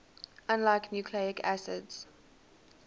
unlike nucleic acids